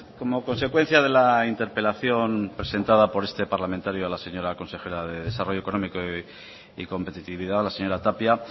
como consecuencia de la interpelación presentada por este parlamentario a la señora consejera de desarrollo económico y competitividad la señora tapia